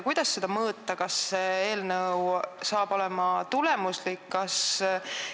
Kuidas mõõta seda, kas eelnõu on tulemuslik?